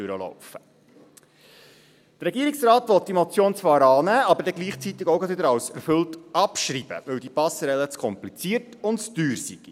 Der Regierungsrat will die Motion zwar annehmen, aber dann gleichzeitig auch wieder als erfüllt abschreiben, weil diese Passerelle zu kompliziert und zu teuer sei.